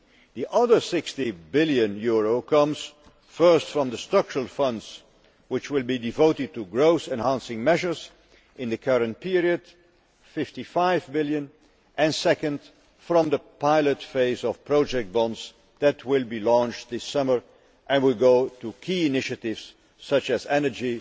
The other EUR 60 billion comes, first, from the Structural Funds which will be devoted to growth enhancing measures in the current period and, second, from the pilot phase of project bonds that will be launched this summer and will go to key initiatives such as energy,